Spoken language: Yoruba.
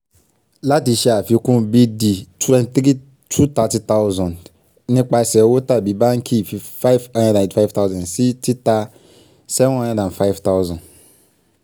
láti ṣe àfikún b/d 230000 nípasẹ̀ owó tàbí báńkì 585000 sí títà 705000.